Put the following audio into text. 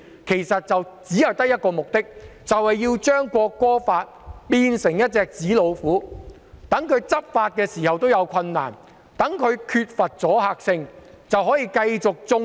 其實他們只有一個目的，就是要把《條例草案》變成紙老虎，令當局難以執法，令《條例草案》缺乏阻嚇性。